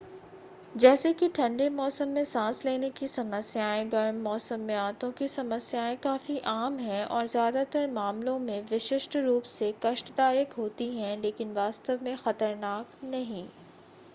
जैसे कि ठंडे मौसम में सांस लेने की समस्याएं गर्म मौसम में आंतों की समस्याएं काफी आम हैं और ज़्यादातर मामलों में विशिष्ट रूप से कष्टदायक होती हैं लेकिन वास्तव में ख़तरनाक नहीं